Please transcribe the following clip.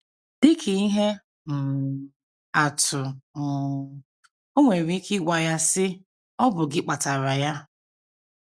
Dị ka ihe um atụ um, o nwere ike ịgwa ya, sị: “ Ọ bụ gị kpatara ya.